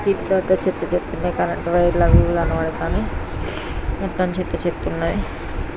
ఇక్కడైతే చెత్త చెత్త గ కరెంటు వైర్ లు అవి కనబడుతున్నాయి మొత్తం చెత్త చెత్త ఉన్నది .